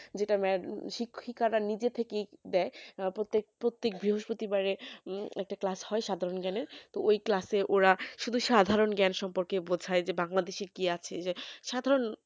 যেটাম্যাড শিক্ষিকারা নিজে থেকেই দেয় প্রত্যেক দিন প্রতিবারে বৃহস্পতিবার একটা class হয় সাধারণ জ্ঞানেরতো ওই ওরা শুধু সাধারণ জ্ঞান সম্পর্কে বোঝায় যে বাংলাদেশী কিআছে